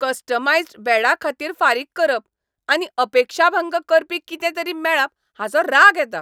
Customised बेडा खातीर फारीक करप आनी अपेक्षाभंग करपी कितेंतरी मेळप हाचो राग येता.